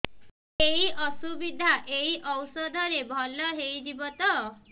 ଏଇ ଅସୁବିଧା ଏଇ ଔଷଧ ରେ ଭଲ ହେଇଯିବ ତ